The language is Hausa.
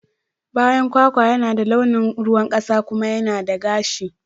Bayan kwakwa yana da launin ruwan kasa kuma yana da gashi.